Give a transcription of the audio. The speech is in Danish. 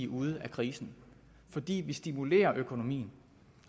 ude af krisen fordi vi stimulerer økonomien